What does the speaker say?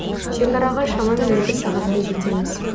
шекараға шамамен екі сағатта жетеміз